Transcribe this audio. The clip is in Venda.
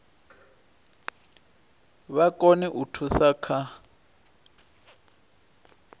vha kone u thusa kha